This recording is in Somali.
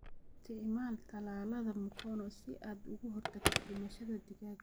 Isticmaal tallaalada mkono si aad uga hortagto dhimashada digaaga.